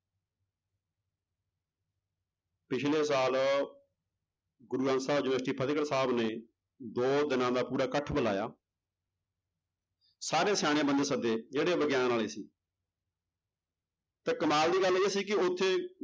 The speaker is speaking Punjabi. ਪਿੱਛਲੇ ਸਾਲ ਗੁਰੂ ਗ੍ਰੰਥ ਸਾਹਿਬ university ਫ਼ਤਿਹਗੜ੍ਹ ਸਾਹਿਬ ਨੇ ਦੋ ਦਿਨਾਂ ਦਾ ਪੂਰਾ ਇਕੱਠ ਬੁਲਾਇਆ ਸਾਰੇ ਸਿਆਣੇ ਬੰਦੇ ਸੱਦੇ ਜਿਹੜੇ ਵਿਗਿਆਨ ਵਾਲੇ ਸੀ ਤੇ ਕਮਾਲ ਦੀ ਗੱਲ ਇਹ ਸੀ ਕਿ ਉੱਥੇ